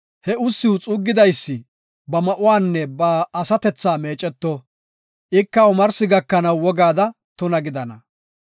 He ussiw xuuggidaysi ba ma7uwanne ba asatethaa meeceto; ika omarsi gakanaw wogaada tuna gidana.